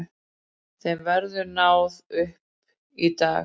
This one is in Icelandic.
Þeim verður náð upp í dag